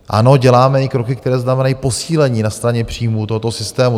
Ano, děláme i kroky, které znamenají posílení na straně příjmů tohoto systému.